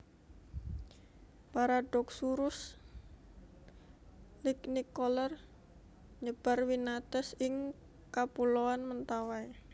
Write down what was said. Paradoxurus lignicolor nyebar winates ing Kapuloan Mentawai